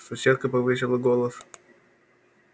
соседка повысила голос